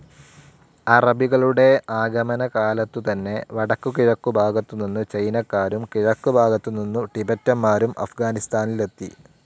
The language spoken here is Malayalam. അറബികളുടേ ആഗമനകാലത്തുതന്നെ വടക്കുകിഴക്കു ഭാഗത്തു നിന്ന് ചൈനക്കാരും കിഴക്ക് ഭാഗത്തു നിന്നും ടിബെറ്റന്മാരും അഫ്ഗാനിസ്ഥാനിലെത്തി.